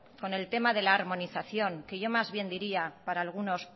con el tema de armonización que yo más bien diría para algunos